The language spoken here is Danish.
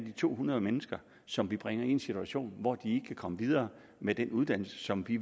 to hundrede mennesker som vi bringer i en situation hvor de kan komme videre med den uddannelse som vi